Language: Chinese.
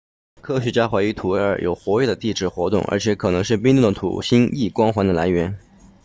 科学家怀疑土卫二有活跃的地质活动而且可能是冰冻的土星 e 光环的来源